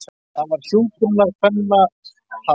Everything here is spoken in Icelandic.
Það var hjúkrunarkvennatalið.